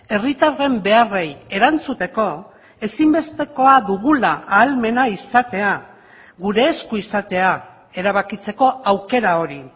herritarren beharrei erantzuteko ezinbestekoa dugula ahalmena izatea gure esku izatea erabakitzeko aukera hori